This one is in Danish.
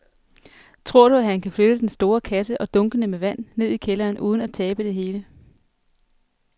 Tror du, at han kan flytte den store kasse og dunkene med vand ned i kælderen uden at tabe det hele?